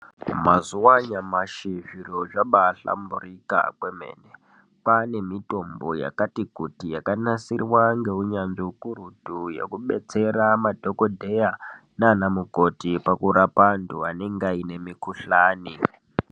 Mazuwa anyamashi zviro zvabahlamburika kwemene kwaane mitombo yakati kuti yakanasirwa ngeunyanzvi ukurutu wekubetsera madhokodheya naanamukoti pakurapa antu anenge aine mukhuhlani.